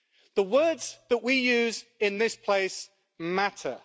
The words that we use in this place matter.